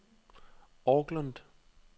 Auckland